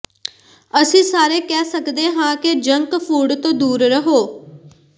ਅਸੀਂ ਸਾਰੇ ਕਹਿ ਸਕਦੇ ਹਾਂ ਕਿ ਜੰਕ ਫੂਡ ਤੋਂ ਦੂਰ ਰਹੋ